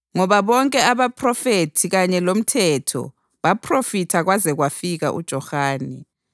Ngoba bonke abaPhrofethi kanye loMthetho baphrofitha kwaze kwafika uJohane.